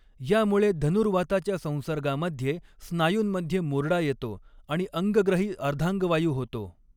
यामुळे धनुर्वाताच्या संसर्गामध्ये स्नायूंमध्ये मुरडा येतो आणि अंगग्रही अर्धांगवायू होतो.